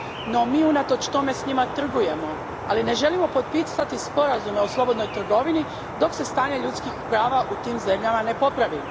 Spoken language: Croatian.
No mi unatoč tome s njima trgujemo, ali ne želimo potpisati sporazume o slobodnoj trgovini dok se stanje ljudskih prava u tim zemljama ne popravi.